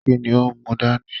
Kínní o n mú dání?